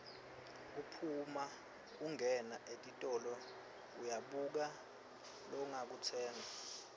kuphuma ungena etitolo uyabuka longakutsenga